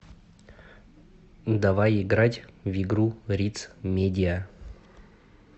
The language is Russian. давай играть в игру риц медиа